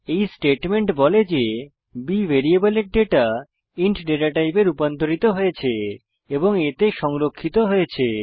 এই স্টেটমেন্ট বলে যে b ভ্যারিয়েবলের ডেটা ইন্ট ডেটা টাইপে রুপান্তরিত হয়েছে এবং a তে সংরক্ষিত হয়েছে